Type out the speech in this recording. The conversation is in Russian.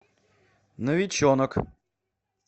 новиченок